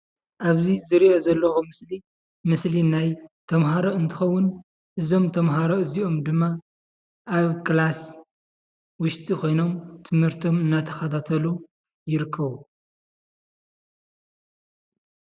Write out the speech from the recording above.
ኣብዚ ዝርኦ ዘለኹ ምስሊ ምስሊ ናይ ተማሃሮ እንትኽዉን እዞም ተማሃሮ እዝኦሞ ድማ ኣብ ክላስ ዉሽጢ ኮይኖም ትምህርቶሞ እናተኸታተሉ ይርከቡ፡፡